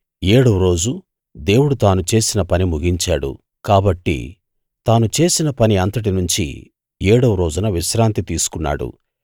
ఏడవ రోజు దేవుడు తాను చేసిన పని ముగించాడు కాబట్టి తాను చేసిన పని అంతటి నుంచీ ఏడవ రోజున విశ్రాంతి తీసుకున్నాడు